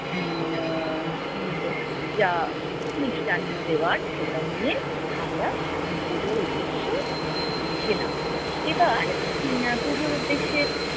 উম যা মিষ্টান্ন দেওয়ার সেটা নিয়ে আমরা পুজোর উদ্দেশ্যে উম গেলাম। এবার উম পুজোর উদ্দেশ্যে